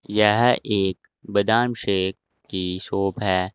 यह एक बादाम शेक की शॉप है।